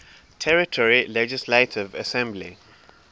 territory legislative assembly